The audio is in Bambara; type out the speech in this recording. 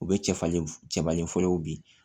U bɛ cɛfarin cɛfarin fɔlɔw bin